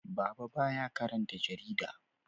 Baba ba ya karanta jarida